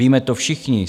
Víme to všichni.